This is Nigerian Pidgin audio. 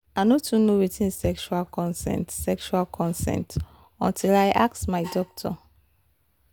i no too know watin sexual consent sexual consent until i ask my doctor